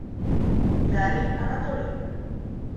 дарьи анатольевны